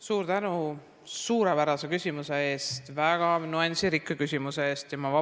Suur tänu suurepärase küsimuse eest, väga nüansirikka küsimuse eest!